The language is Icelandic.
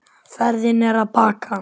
Ferðin er að baki.